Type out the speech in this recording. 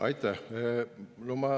Aitäh!